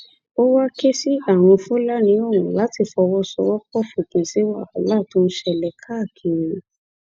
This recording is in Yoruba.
ó wá ké sí àwọn fúlàní ọ̀hún láti fọwọsowọpọ fòpin sí wàhálà tó ń ṣẹlẹ káàkiri